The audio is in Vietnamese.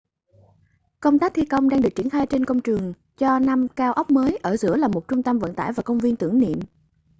công tác thi công đang được triển khai trên công trường cho năm cao ốc mới ở giữa là một trung tâm vận tải và công viên tưởng niệm